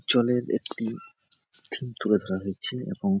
theme তুলে ধরা হয়েছে এবং --